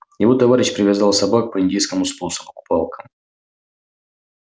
его товарищ привязал собак по индейскому способу к палкам